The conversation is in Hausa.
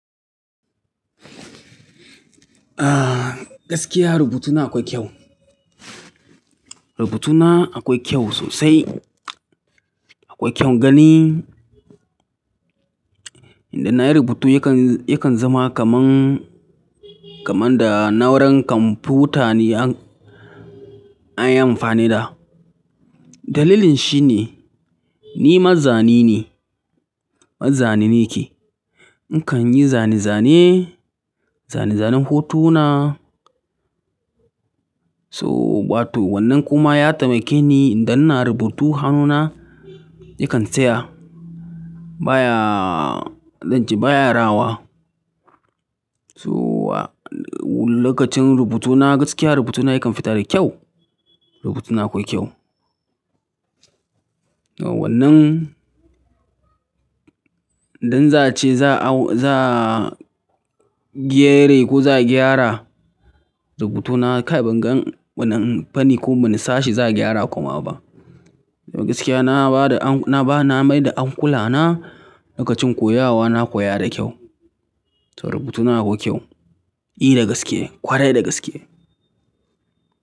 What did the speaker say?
Ah, gaskiya rubutuna akwai kyau. Rubutuna akwai kyau sosai, akwai kyau gani. Indai na yi rubutu yakan, yakan zama kaman, kaman da na'uran kwamputa ne an, an yi amfani da. Dalilin shi ne, ni mazzani ne, mazzani nike. Nakan yi zane zane, zane zanen hotuna. So, wato wannan kuma ya taimake ni idan ina rubutu hannuna yakan tsaya. Ba ya, zan ce ba ya rawa. So lokacin rubutuna gaskiya rubutuna yakan fita da kyau. Rubutuna akwai kyau. Wannan, idan za a ce za au-- za giyere ko za gyara rubutuna kai ban gan wani fani ko wani sashi za a gyara kuma ba. Gaskiya na bada an-- na ba, na mai da ankula na lokacin koyawa na koya da kyau. To rubutuna akwai kyau. E da gaske, kwarai da gaske.